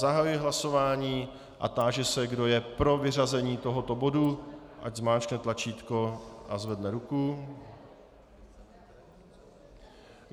Zahajuji hlasování a táži se, kdo je pro vyřazení tohoto bodu, ať zmáčkne tlačítko a zvedne ruku.